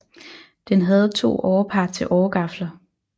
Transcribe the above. Den havde to årepar til åregafler